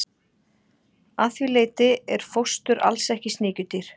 að því leyti er fóstur alls ekki sníkjudýr